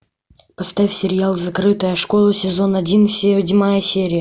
поставь сериал закрытая школа сезон один седьмая серия